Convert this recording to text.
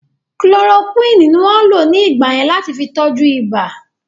Kulorokúwínì ní wọ́n lò ní ìgbà yẹn láti fi tọ́jú ìbà